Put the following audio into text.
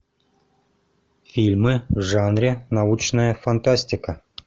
фильмы в жанре научная фантастика